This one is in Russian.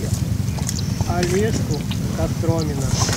олежку костромина